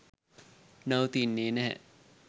නවතින්නේ නැහැ.